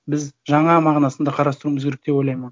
біз жаңа мағынасында қарастыруымыз керек деп ойлаймын оны